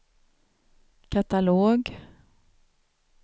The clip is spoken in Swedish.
katalog